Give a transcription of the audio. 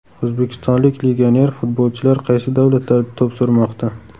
O‘zbekistonlik legioner futbolchilar qaysi davlatlarda to‘p surmoqda?.